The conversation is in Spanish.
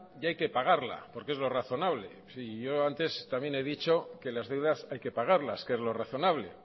y hay que pagarla porque es lo razonable sí y yo antes también he dicho que las deudas hay que pagarlas que es lo razonable